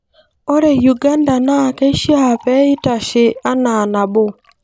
Ore Uganda na keishiaa peeitashe enaa nabo.